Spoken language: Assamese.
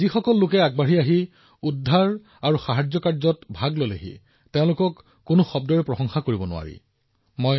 যিসকলে আগবাঢ়ি গৈছে আৰু সাহায্য আৰু উদ্ধাৰ অভিযানত অংশগ্ৰহণ কৰিছে তেওঁলোকক আপুনি যিমানে প্ৰশংসা কৰে সিমানেই কম হব